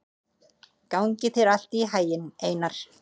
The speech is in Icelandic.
Gangi þér allt í haginn, Einar.